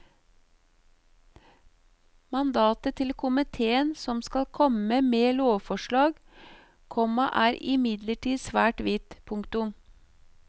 Mandatet til komitéen som skal komme med lovforslag, komma er imidlertid svært vidt. punktum